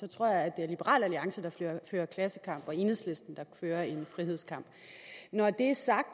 tror jeg at det er liberal alliance der fører klassekamp og enhedslisten der fører en frihedskamp når det er sagt